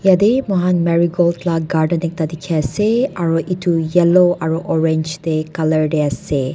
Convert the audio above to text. yatae mohan marigold la garden ekta dikhiase aro edu yellow aro orange tae ase.